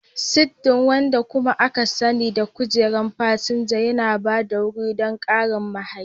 Siddi, wanda kuma aka sani da kujerar fasinja, yana ba da wuri don ƙarin mahayi.